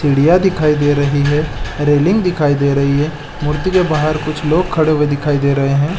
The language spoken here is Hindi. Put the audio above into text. सिढियाँ दिखाई दे रही है रेलिंग दिखाई दे रही है उधर बाहर कुछ लोग खड़े दिखाई दे रहे हैं ।